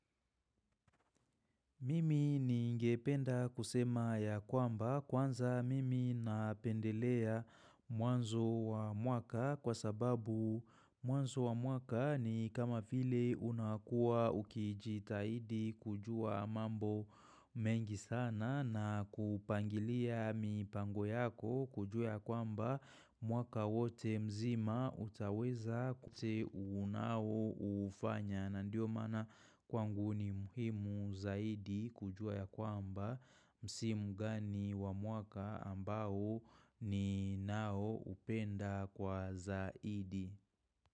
Mimi ningependa kusema ya kwamba kwanza mimi napendelea mwanzo wa mwaka kwa sababu mwanzo wa mwaka ni kama vile unakua ukijitahidi kujua mambo mengi sana na kupangilia mipango yako kujua ya kwamba mwaka wote mzima utaweza kute unao ufanya. Na ndio maana kwangu ni muhimu zaidi kujua ya kwamba msimu gani wa mwaka ambao ni nao upenda kwa zaidi.